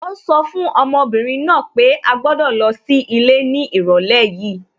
Ó sọ fún ọmọbìnrin náà pé à gbọ́dọ̀ lọ sí ilé ní ìrọ̀lẹ́ yìí